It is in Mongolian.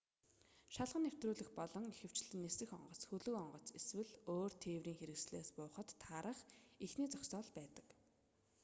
шалган нэвтрүүлэх бол ихэвчлэн нисэх онгоц хөлөг онгоц эсвэл өөр тээврийн хэрэгслээс буухад таарах эхний зогсоол байдаг